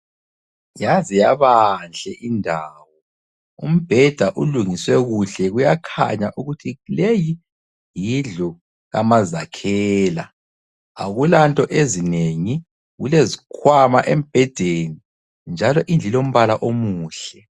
Yaze yabanhle indawo, umbheda ulungiswe kuhle ,kuyakhanya ukuthi leyi yindlu kamazakhela. Akulanto ezinengi. Kulezikhwama embhedeni njalo indlu ilombala omuhle.